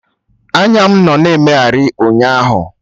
Anya mụ nọ na emegharị ụnyaahụ